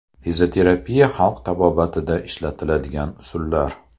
Fizioterapiya Xalq tabobatida ishlatiladigan usullar.